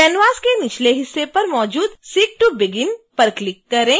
canvas के निचले हिस्से पर मौजूद seek to begin पर क्लिक करें